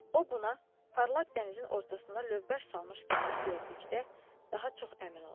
O buna parlaq dənizin ortasına lövbər salmış gəmini gördükdə daha çox əmin oldu.